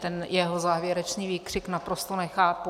Ten jeho závěrečný výkřik naprosto nechápu.